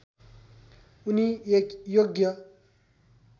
उनी एक योग्य